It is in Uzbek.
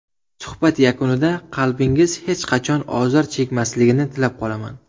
Suhbat yakunida qalbingiz hech qachon ozor chekmasligini tilab qolaman.